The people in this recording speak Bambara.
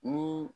Ni